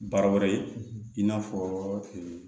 Baara wɛrɛ ye i n'a fɔ